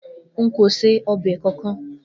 Nko se obe kankan.